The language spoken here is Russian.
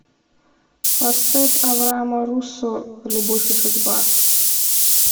поставь авраама руссо любовь и судьба